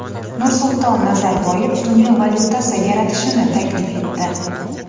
Nursulton Nazarboyev dunyo valyutasi yaratishni taklif etdi .